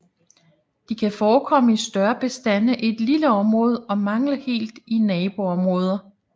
De kan forekomme i større bestande i et lille område og mangle helt i naboområder